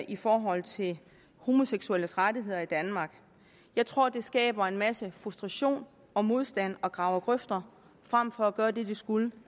i forhold til homoseksuelles rettigheder i danmark jeg tror det skaber en masse frustration og modstand og graver grøfter frem for at gøre det det skulle